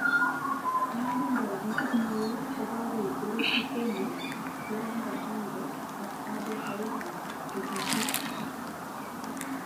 En olibo opisis it neo kokakoib Dorothy Semu, Joran Bashange ak Ado Shaibu tetutiet